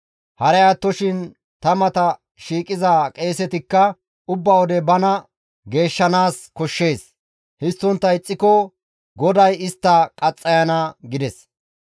Haray attoshin ta mata shiiqiza qeesetikka ubba wode bana geeshshanaas koshshees; histtontta ixxiko GODAY istta qaxxayana» gides.